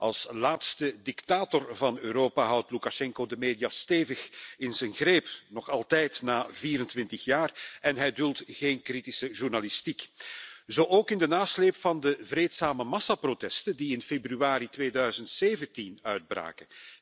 Als laatste dictator van Europa houdt Loekasjenko de media stevig in zijn greep, nog altijd na 24 jaar, en hij duldt geen kritische journalistiek. Zo ook in de nasleep van de vreedzame massaprotesten die in februari 2017 uitbraken.